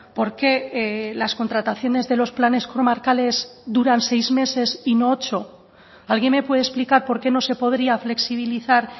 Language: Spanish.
por qué las contrataciones de los planes comarcales duran seis meses y no ocho alguien me puede explicar por qué no se podría flexibilizar